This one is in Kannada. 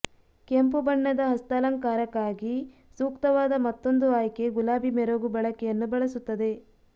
ಕೆಂಪು ಬಣ್ಣದ ಹಸ್ತಾಲಂಕಾರಕ್ಕಾಗಿ ಸೂಕ್ತವಾದ ಮತ್ತೊಂದು ಆಯ್ಕೆ ಗುಲಾಬಿ ಮೆರುಗು ಬಳಕೆಯನ್ನು ಬಳಸುತ್ತದೆ